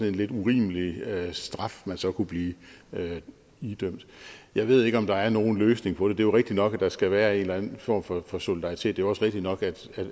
en lidt urimelig straf man så kunne blive idømt jeg ved ikke om der er nogen løsning på det det er jo rigtigt nok at der skal være en eller anden form for for solidaritet og også rigtigt nok